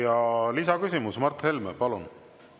Ja lisaküsimus, Mart Helme, palun!